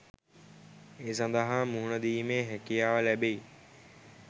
ඒ සඳහා මුහුණ දීමේ හැකියාව ලැබෙයි.